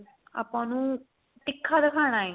ਆਪਾਂ ਉਹਨੂੰ ਤਿੱਖਾ ਦਿਖਾਣਾ ਏ